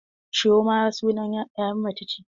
Chioma sunan 'ya mace ce.